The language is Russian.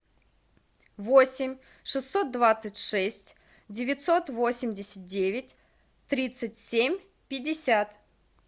восемь шестьсот двадцать шесть девятьсот восемьдесят девять тридцать семь пятьдесят